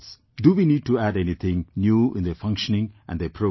Do we need to add anything new in their functioning and their programmes